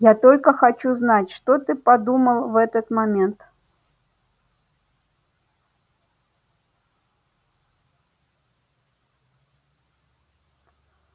я только хочу знать что ты подумал в этот момент